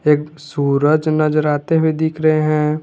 एक सूरज नजर आते हुए दिख रहे है।